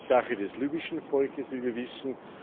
Das ist Sache des libyschen Volkes, wie wir wissen.